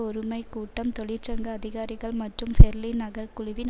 ஒறுமைக் கூட்டம் தொழிற்சங்க அதிகாரிகள் மற்றும் பெர்லின் நகரக்குழுவின்